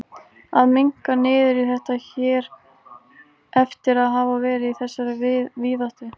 Að minnka niður í þetta hér eftir að hafa verið í þessari víðáttu.